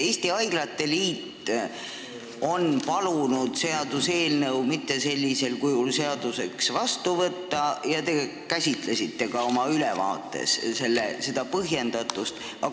Eesti Haiglate Liit on palunud seaduseelnõu sellisel kujul seadusena mitte vastu võtta ja te käsitlesite oma ülevaates ka seda põhjendust.